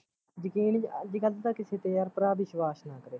ਯਕੀਨ ਅੱਜ ਕੱਲ ਤਾਂ ਕਿਸੇ ਤੇ ਯਾਰ ਭਰਾ ਵਿਸ਼ਵਾਸ਼ ਨਾ ਕਰੇ